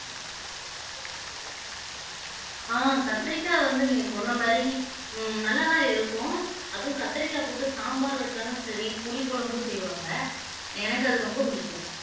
ஆஹ் கத்தரிக்காய் வந்து நீங்க சொன்ன மாதிரி உம் நல்லாதான் இருக்கும் அதுவும் கத்திரிக்காய் போட்டு சாம்பார் வச்சாலும் சரி புளி குழம்பு செய்வாங்க எனக்கு அது ரொம்ப பிடிக்கும்